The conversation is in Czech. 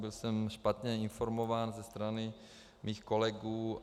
Byl jsem špatně informován ze strany mých kolegů.